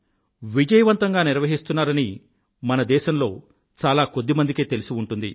విజయవంతంగా నిర్వహిస్తున్నారని మన దేశంలో చాలా కొద్ది మందికే తెలిసి ఉంటుంది